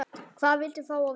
Hvað viltu fá að vita?